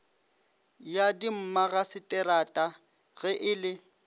ya dimmagaseterata ge e le